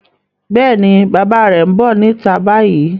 Yes, bàbá rẹ̀ ń bọ̀ níta báyìí.